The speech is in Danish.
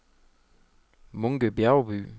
Munke Bjergby